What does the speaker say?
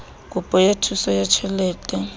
kopo ya thuso ya tjhelete